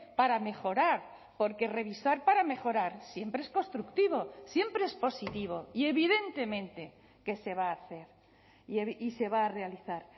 para mejorar porque revisar para mejorar siempre es constructivo siempre es positivo y evidentemente que se va a hacer y se va a realizar